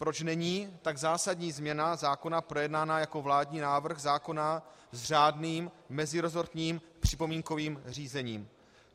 Proč není tak zásadní změna zákona projednána jako vládní návrh zákona s řádným meziresortním připomínkovým řízením?